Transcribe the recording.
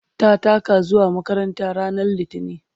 ta taka zuwa makaranta ranar litini